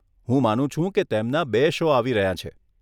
હું માનું છું કે તેમના બે શો આવી રહ્યાં છે.